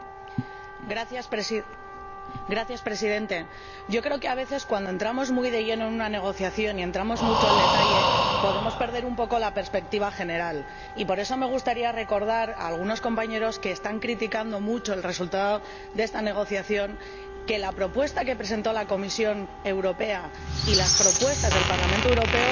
Señor Presidente, yo creo que, a veces, cuando entramos muy de lleno en una negociación y entramos mucho al detalle, podemos perder un poco la perspectiva general, y por eso me gustaría recordar a algunas de sus Señorías que están criticando mucho el resultado de esta negociación que la propuesta que presentó la Comisión Europea y las propuestas del Parlamento Europeo podrían